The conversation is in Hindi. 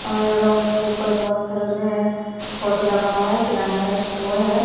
और उसके ऊपर बहुत सारा जो है फोटो लगा हुआ है किराने का स्टोर है।